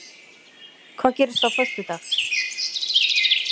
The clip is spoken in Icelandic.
Hvað gerist á föstudag?